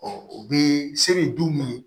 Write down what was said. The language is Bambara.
u bɛ se bɛ duw minɛ